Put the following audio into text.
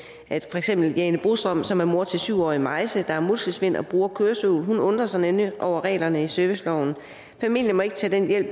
for eksempel jane brostrøm som er mor til syv årige maise der har muskelsvind og bruger kørestol hun undrer sig nemlig over reglerne i serviceloven familien må ikke tage den hjælp